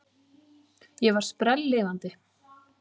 Ég var sprelllifandi.